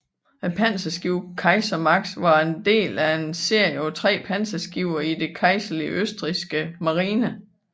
Panserskibet Kaiser Max var en del af en serie på tre panserskibe i den kejserlige østrigske marine